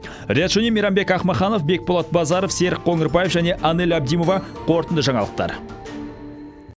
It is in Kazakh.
риат шони мейрамбек ахмаханов бекболат базаров серік қоңырбаев және анель абдимова қорытынды жаңалықтар